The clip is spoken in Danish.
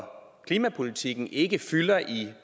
klimapolitikken ikke fylder i